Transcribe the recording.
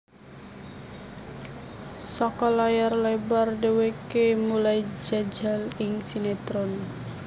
Saka layar lebar dheweke mulai njajal ing sinetron